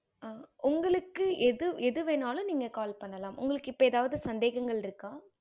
ஆஹ் உங்களுக்கு எது எது வேன்னுனாலும் நீங்க call பண்ணாலும் உங்களுக்கு எப்ப எதாவது சந்தேகங்கள் இருக்க